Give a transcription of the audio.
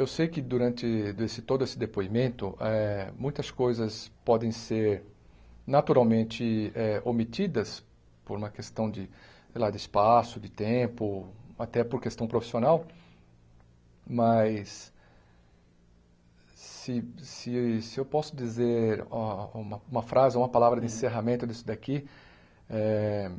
Eu sei que durante desse todo esse depoimentoeh , muitas coisas podem ser naturalmente eh omitidas por uma questão de sei lá de espaço, de tempo, até por questão profissional, mas se se se eu posso dizer a uma frase, ou uma palavra de encerramento disso daqui, é